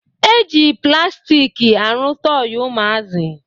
E ji plastik arụ tọị ụmụazị